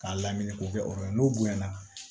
K'a lamini k'o kɛ o yɔrɔ ye n'o bonya na